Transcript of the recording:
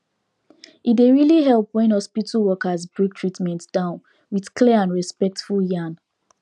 e dey really help when hospital workers break treatment down with clear and respectful yarn